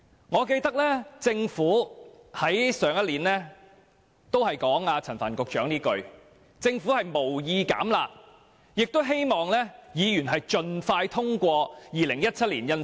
我記得，政府上年度也說過陳帆局長這句話，就是政府無意"減辣"，並且希望議員盡快通過《條例草案》。